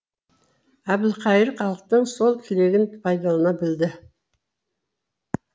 әбілқайыр халықтың сол тілегін пайдалана білді